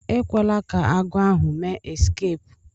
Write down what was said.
Ekwela ka agwo ahu mee eskeepu.